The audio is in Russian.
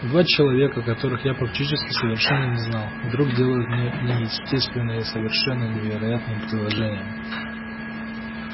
два человека которых я практически совершенно не знал вдруг делают мне неестественные и совершенно невероятные предложения